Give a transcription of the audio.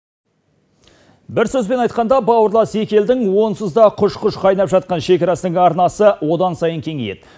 бір сөзбен айтқанда бауырлас екі елдің онсыз да құж құж қайнап жатқан шекарасының арнасы одан сайын кеңейеді